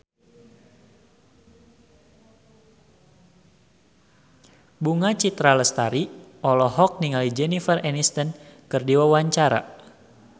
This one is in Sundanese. Bunga Citra Lestari olohok ningali Jennifer Aniston keur diwawancara